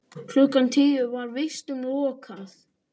Klukkan tíu var vistum lokað.